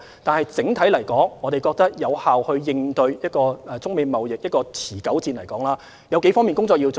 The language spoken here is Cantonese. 但是，整體來說，要有效應對中美貿易持久戰，我們覺得有數方面的工作要做。